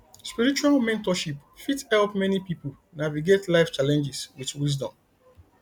spiritual mentorship fit help many pipo navigate life challenges with wisdom